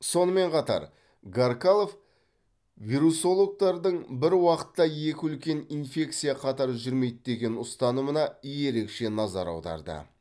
сонымен қатар гаркалов вирусологтардың бір уақытта екі үлкен инфекция қатар жүрмейді деген ұстанымына ерекше назар аударды